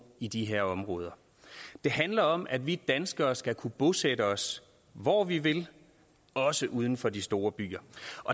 i de her områder det handler om at vi danskere skal kunne bosætte os hvor vi vil også uden for de store byer